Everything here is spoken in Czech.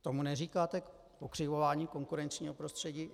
Tomu neříkáte pokřivování konkurenčního prostředí?